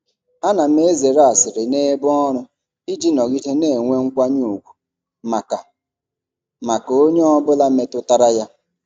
Ana m ezere asịrị n'ebe ọrụ iji nọgide na-enwe nkwanye ùgwù maka maka onye ọ bụla metụtara ya.